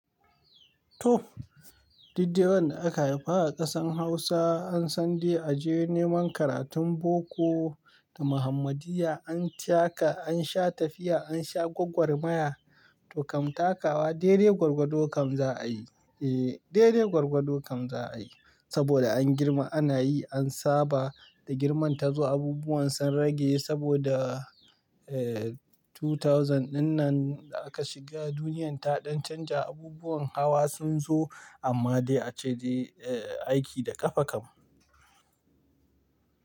Toh, didda wan da aka haifa a ƙasan Hausa an san dai a je neman karatun boko da Muhammadiya an taka, an sha tafiya, an sha gwaggwar maya to kam takawa, dere gwargwado kam za a yi. Ehh, dede gwargwado kam za a yi saboda an girma ana yi, an saba da girman ta zo abubuwan sun rage saboda ehh dubu biyu dinnan da aka shiga duniyan ta ɗan canja abubuwan hawa sun zo amma dai ace aiki da ƙafa kam.